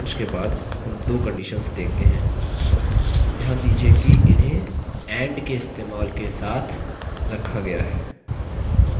ध्यान दीजिये कि इन्हें and के इस्तेमाल से एक साथ रखा गया है यहाँ and को logical operator कहते हैं